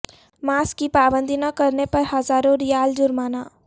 mask کی پابندی نہ کرنے پر ہزاروں ریال جرمانہ